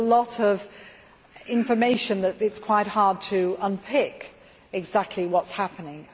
There is a lot of information so that it is quite hard to unpick exactly what is happening.